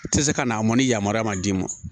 Tɛ se ka n'a mɔni yamaruya man d'i ma